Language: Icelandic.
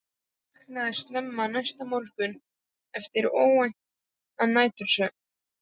Örn vaknaði snemma næsta morgun eftir óværan nætursvefn.